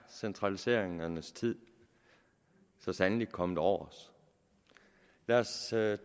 at centraliseringernes tid så sandelig er kommet over os lad os tage